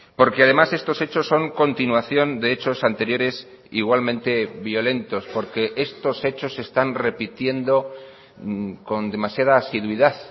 porque además estos hechos son continuación de hechos anteriores igualmente violentos porque estos hechos se están repitiendo con demasiada asiduidad